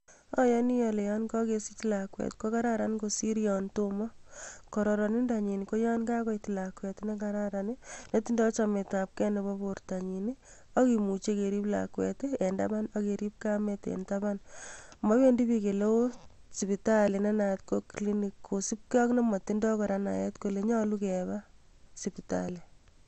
Ayani ale yan kakesich lakwet ko kararan kosir ya tomo kororindonyin ko yon kakoit lakwet ne kararan netindo chametabgei nebo bortonyi akimuchi kerib lakwet eng taban ak kerib kamet eng taban. Mowendi bik ooh sipitali ne naat ko clinic kosubgei ak ne motindoi naet kole nyolu keba spitali.